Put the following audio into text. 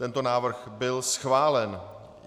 Tento návrh byl schválen.